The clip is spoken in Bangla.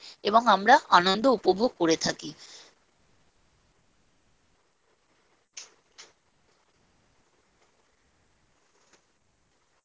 change হয়ে যায় এবং আমরা আনন্দ উপভোগ করে থাকি।